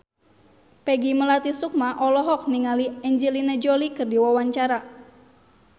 Peggy Melati Sukma olohok ningali Angelina Jolie keur diwawancara